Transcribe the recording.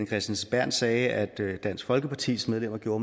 kristensen berth sagde at dansk folkepartis medlemmer gjorde